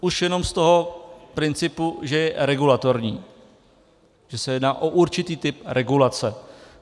Už jenom z toho principu, že je regulatorní, že se jedná o určitý typ regulace.